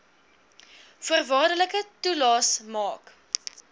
voorwaardelike toelaes maak